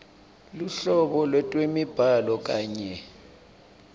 luhlobo lwetemibhalo kanye